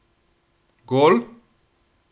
Gol?